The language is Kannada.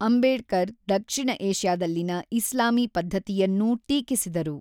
ಅಂಬೇಡ್ಕರ್ ದಕ್ಷಿಣ ಏಷ್ಯಾದಲ್ಲಿನ ಇಸ್ಲಾಮೀ ಪದ್ಧತಿಯನ್ನೂ ಟೀಕಿಸಿದರು.